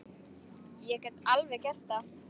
Ég get alveg gert það.